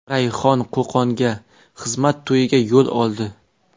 Rayhon Qo‘qonga to‘y xizmatiga yo‘l oldi.